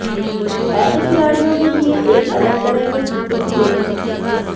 ऐसे खिलाड़ियों के लिए एक अलग तरह के जूते की जरूरत होती है